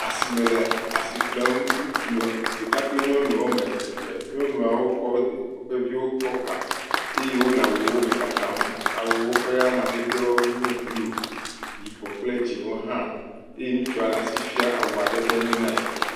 Asime le asi ƒlem. Ŋutsu ɖeka kple nyɔnu eve. Nyɔnuawo kɔ woƒe viwo kɔkpa eye wole awuwome kakam. Awuwo ƒe amadedewo nye bluu, yibɔ kple dzẽwo hã. Eye ŋutsua le asi fia awua ɖe be enyo na yɛ.